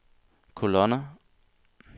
kolonner